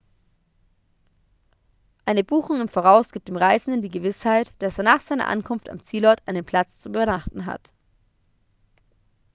eine buchung im voraus gibt dem reisenden die gewissheit dass er nach seiner ankunft am zielort einen platz zum übernachten hat